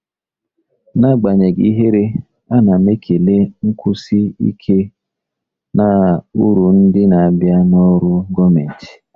N'agbanyeghị ihere, ana m ekele nkwụsi ike na uru ndị na-abịa na ọrụ gọọmentị.